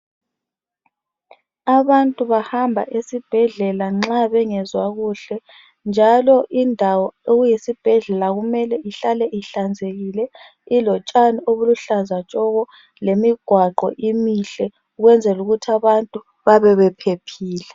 Abantu bahamba esibhedlela nxa bengezwa kuhle. Njalo indawo okuyisibhedlela kumele ihlale ihlanzekile, ilotshani obuluhlaza tshoko, lemigwaqo imihle ukwenzel' ukuth' abantu babe bephephile.